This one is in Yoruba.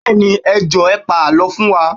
Bẹẹni, ẹ Jọ̀ọ́ ẹ pa àlọ́ fún wa